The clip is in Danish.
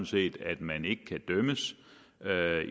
set at man ikke kan dømmes